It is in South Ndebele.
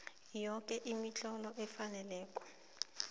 yoke imitlolo efaneleko